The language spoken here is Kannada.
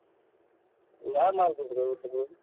ಯಾವ್ market ಗೆ ಹೋಗಿದ್ರೀ ನೀವ್?